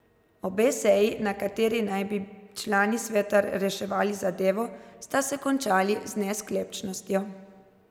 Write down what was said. Obe seji, na kateri naj bi člani sveta reševali zadevo, sta se končali z nesklepčnostjo.